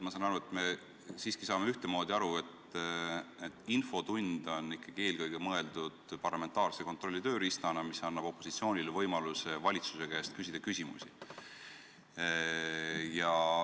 Ma saan aru, et me mõistame siiski ühtemoodi: infotund on eelkõige mõeldud parlamentaarse kontrolli tööriistana, mis annab opositsoonile võimaluse küsida valitsuse käest küsimusi.